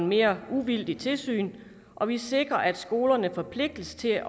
mere uvildigt tilsyn og vi sikrer at skolerne forpligtes til at